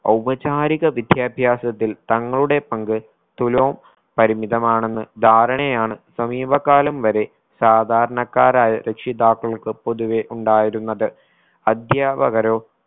ഔപചാരിക വിദ്യാഭ്യാസത്തിൽ തങ്ങളുടെ പങ്ക് തുലോം പരിമിതമാണെന്ന് ധാരണയാണ് സമീപകാലം വരെ സാധാരണക്കാരായ രക്ഷിതാക്കൾക്ക് പൊതുവെ ഉണ്ടായിരുന്നത് അധ്യാപകരോ